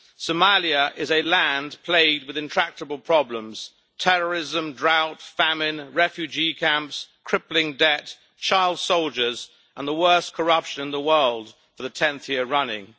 Somalia is a land plagued with intractable problems terrorism, drought, famine, refugee camps, crippling debt, child soldiers and the worst corruption in the world for the tenth year running.